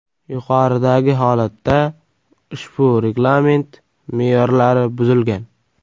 Yuqoridagi holatda ushbu reglament me’yorlari buzilgan.